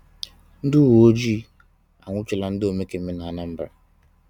Ndị uweojii anwụchiela ndị omekome n'Anambra